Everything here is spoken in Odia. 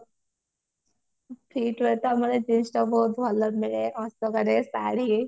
v two ତ ଆମର dress ଟା ବହୁତ ଭଲ ଅଶୋକା ରେ ଶାଢୀ